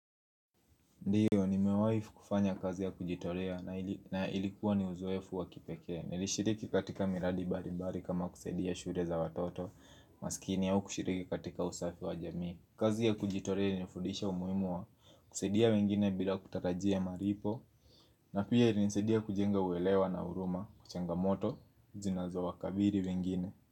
Ndiyo nimewai kufanya kazi ya kujitolea na ilikuwa ni uzoefu wa kipeke Nilishiriki katika miradi balibali kama kusaidia shule za watoto maskini au kushiriki katika usafi wa jamii kazi ya kujitorea ilinifudisha umuhimu wa kusaidia wengine bila kutarajia malipo na pia ilinisaidia kujenga uwelewa na huruma kuchanga moto zinazo wakabiri wengine.